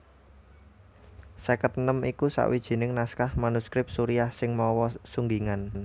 Seket enem iku sawijining naskah manuskrip Suriah sing mawa sunggingan